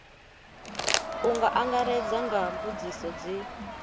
u angaredza nga mbudziso dzi